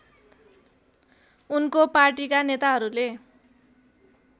उनको पार्टीका नेताहरूले